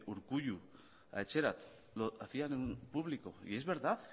urkullu a etxerat lo hacían en público y es verdad